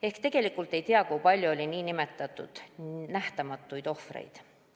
Ehk tegelikult me ei tea, kui palju oli nn nähtamatuid ohvreid.